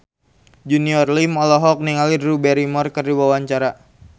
Junior Liem olohok ningali Drew Barrymore keur diwawancara